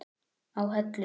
á Hellu.